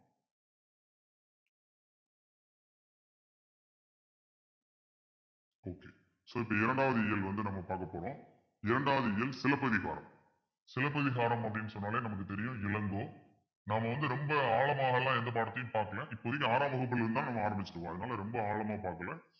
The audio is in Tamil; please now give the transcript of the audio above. so இந்த இரண்டாவது இயல் வந்து நம்ம பார்க்க போறோம் இரண்டாவது இயல் சிலப்பதிகாரம் சிலப்பதிகாரம் அப்பிடின்னு சொன்னாலே நமக்கு தெரியும் இளங்கோ நாம வந்து ரொம்ப ஆழமாக எல்லாம் எந்த பாடத்தையும் பார்க்கலை இப்போதைக்கு ஆறாம் வகுப்பிலிருந்துதான் நம்ம ஆரம்பிச்சிருக்கோம் அதனால ரொம்ப ஆழமா பார்க்கல